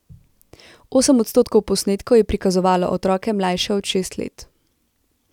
Osem odstotkov posnetkov je prikazovalo otroke mlajše od šest let.